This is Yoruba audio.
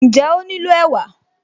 Ǹjẹ́ ó nílò ẹ̀wà?